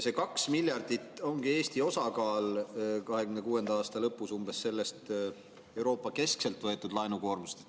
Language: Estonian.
See 2 miljardit ongi Eesti osakaal 2026. aasta lõpus sellest Euroopa-keskselt võetud laenukoormusest.